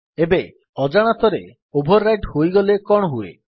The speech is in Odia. ଏବେ ଅଜାଣତରେ ଓଭର୍ ରାଇଟ୍ ହୋଇଗଲେ କଣ ହୁଏ